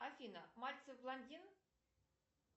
афина мальцев блондин